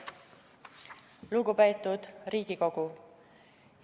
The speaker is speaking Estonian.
Lugupeetud Riigikogu!